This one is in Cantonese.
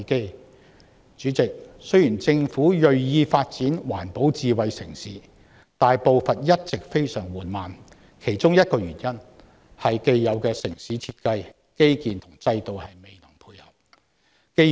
代理主席，雖然政府銳意發展環保智慧城市，但步伐一直非常緩慢，其中一個原因是既有的城市設計、基建和制度未能配合。